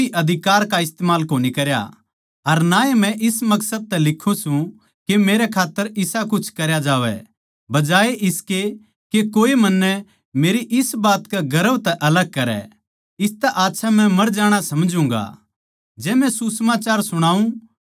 पर मन्नै इन म्ह तै किसे भी अधिकार का इस्तमाल कोनी करया अर ना ए मै इस मकसद तै लिखूँ सूं के मेरै खात्तर इसा कुछ करया जावै बजाये इसकै के कोए मन्नै मेरी इस बात के गर्व तै अलग करै इसतै आच्छा मै मर जाणा समझूगाँ